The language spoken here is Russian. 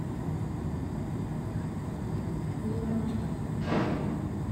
луна